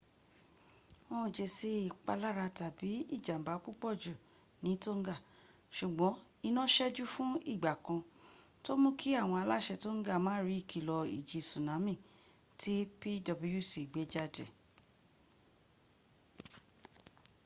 wọn ò jésì ìpalára tàbí ìjàmba púpọ̀jù ní tonga ṣùgbọ́n iná ṣẹ́jú fún ìgbà kan tó mú kí àwọn aláṣẹ tonga má rí ìkilọ̀ ìjì súnámì tí pwc gbéjáde